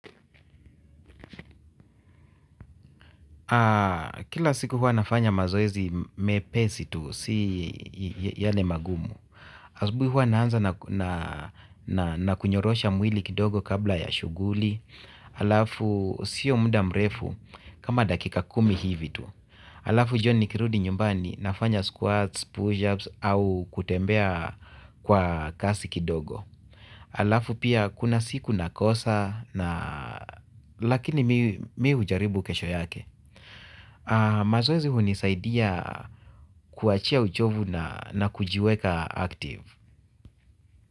Kila siku huwa nafanya mazoezi mepesi tu si yale magumu. Asubuhi huwa naanza na kunyorosha mwili kidogo kabla ya shughuli. Alafu sio muda mrefu kama dakika kumi hivi tu. Alafu jioni nikirudi nyumbani nafanya squats, pushups au kutembea kwa kasi kidogo. Alafu pia kuna siku nakosa na lakini mimi hujaribu kesho yake. Mazoezi hunisaidia kuachia uchovu na kujiweka active.